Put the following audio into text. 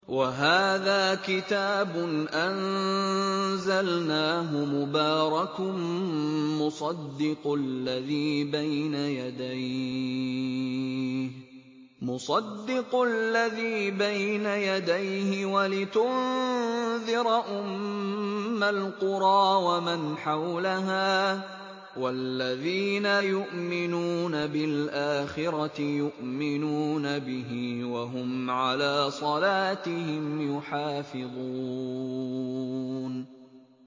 وَهَٰذَا كِتَابٌ أَنزَلْنَاهُ مُبَارَكٌ مُّصَدِّقُ الَّذِي بَيْنَ يَدَيْهِ وَلِتُنذِرَ أُمَّ الْقُرَىٰ وَمَنْ حَوْلَهَا ۚ وَالَّذِينَ يُؤْمِنُونَ بِالْآخِرَةِ يُؤْمِنُونَ بِهِ ۖ وَهُمْ عَلَىٰ صَلَاتِهِمْ يُحَافِظُونَ